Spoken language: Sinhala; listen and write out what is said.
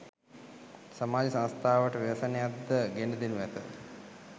සමාජ සංස්ථාවට ව්‍යසනයක්ද ගෙන දෙනු ඇත.